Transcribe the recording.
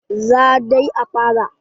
Za dai a fara.